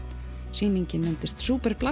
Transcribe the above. sýningin nefndist